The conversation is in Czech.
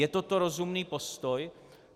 Je toto rozumný postoj?